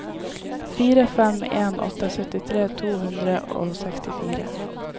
fire fem en åtte syttitre to hundre og sekstifire